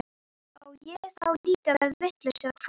Á ég þá líka að verða vitlaus eða hvað?